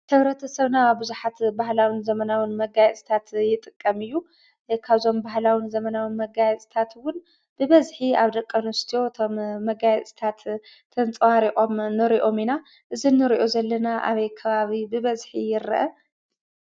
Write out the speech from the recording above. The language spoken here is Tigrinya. ሕብረተሰብና ብዙሓት ባህላውን ዘመናውን መጋየፅታት ይጥቀም እዩ፡፡ ግን ካብዞም ባህላውን ዘመናውን መጋየፅታት እውን ብበዝሒ ኣብ ደቂ ኣነስትዮ እቶም መጋየፅታት ተንፀባሪቖም ንሪኦም ኢና፡፡ እዚ ንሪኦ ዘለና ኣበይ ከባቢ ብበዝሒ ይርአ?